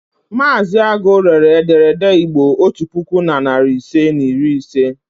Mazị Agu rere ederede Igbo otu puku na narị ise na iri ise.